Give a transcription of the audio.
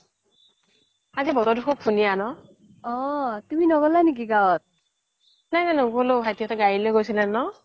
আজি বতৰটো খুব ধুনীয়া ন নাই নাই নগলো ভাইটিহতে গাড়ী লৈ গৈছিলে ন